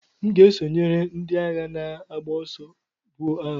M ga-esonyere ndị agha na-agba ọsọ, buo agha.